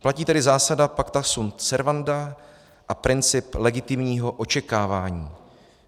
Platí tedy zásada pacta sunt servanda a princip legitimního očekávání.